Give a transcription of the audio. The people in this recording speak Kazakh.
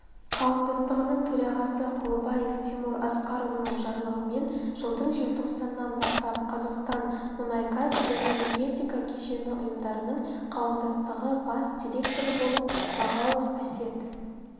қауымдастығының төрағасы құлыбаев тимур асқарұлының жарлығымен жылдың желтоқсанынан бастап қазақстан мұнай-газ және энергетика кешені ұйымдарының қауымдастығы бас директоры болып мағауов әсет